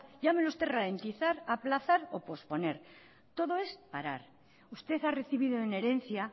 llámelo usted ralentizar aplazar o posponer todo es parar usted ha recibido en herencia